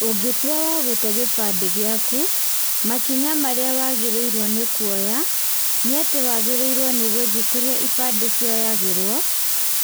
Ũngĩtua wa gũte gĩbandĩ gĩaku, makinya marĩ wagĩrĩire nĩ kuoya, nĩ atĩ wagĩrĩirwo nĩ gũthiĩ kũrĩa ibandĩ cioyagĩrwo,